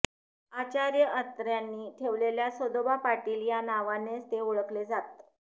आचार्य अत्र्यांनी ठेवलेल्या सदोबा पाटील या नावानेच ते ओळखले जात